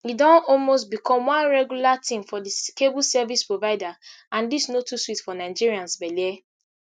e don almost become one regular tin for di cable service provider and dis no too sweet for nigerians belle